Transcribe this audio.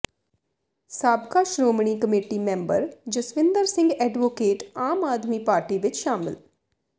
ਸਾਬਕਾ Shiromani committee member Jaswinder Singh advocate Aam Aadmi party ਵਿੱਚ ਸ਼ਾਮਿਲ